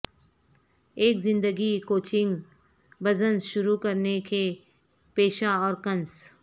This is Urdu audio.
ایک زندگی کوچنگ بزنس شروع کرنے کے پیشہ اور کنس